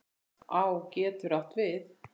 Á getur átt við